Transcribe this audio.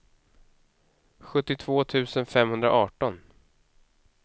sjuttiotvå tusen femhundraarton